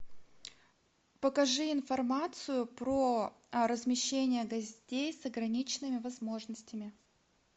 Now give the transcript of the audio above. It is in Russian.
покажи информацию про размещение гостей с ограниченными возможностями